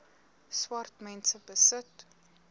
swart mense besit